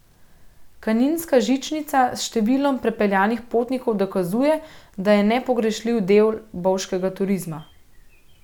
Kaninska žičnica s številom prepeljanih potnikov dokazuje, da je nepogrešljiv del bovškega turizma.